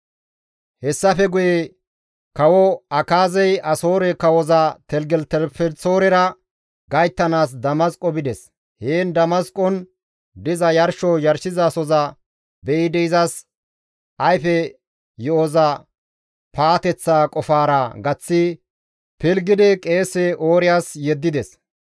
Hessafe guye kawo Akaazey Asoore kawoza Teligelitelifelisoorera gayttanaas Damasqo bides; heen Damasqon diza yarsho yarshizasohoza be7idi izas ayfe yo7oza paateththa qofaara gaththi pilggidi qeese Ooriyas yeddides.